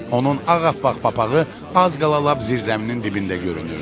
Onun ağappaq papağı az qala lap zirzəminin dibində görünürdü.